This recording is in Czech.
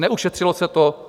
Neušetřilo se to.